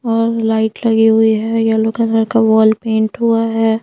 और लाइट लगी हुई है येलो कलर का वॉल पेंट हुआ है।